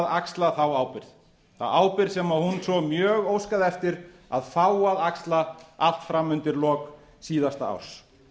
axla þá ábyrgð þá ábyrgð sem hún svo mjög óskaði eftir að fá að axla allt fram undir lok síðasta árs